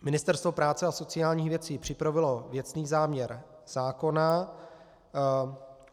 Ministerstvo práce a sociálních věcí připravilo věcný záměr zákona.